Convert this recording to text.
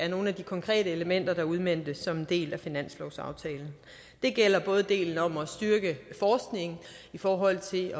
nogle af de konkrete elementer der udmøntes som en del af finanslovsaftalen det gælder både delen om at styrke forskning i forhold til at